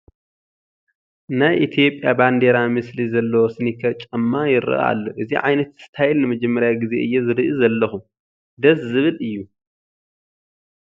ናይ ኢትዮጵያ ባንዴራ ምስሊ ዘለዎ ስኒከር ጫማ ይርአ ኣሎ፡፡ እዚ ዓይነት ስታይል ንመጀመርያ ግዜ እየ ዝርኢ ዘለኹ፡፡ ደስ ዝብል እዩ፡፡